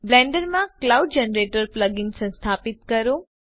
Blender માટે cloud generator plug in સંસ્થાપિત કરો